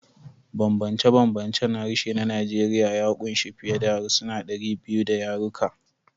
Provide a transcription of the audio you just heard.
Bambance-bambancen harshe na Najeriya ya ƙunshi fiye da harsuna 200 da yaruka.